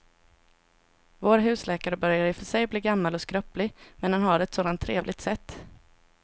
Vår husläkare börjar i och för sig bli gammal och skröplig, men han har ju ett sådant trevligt sätt!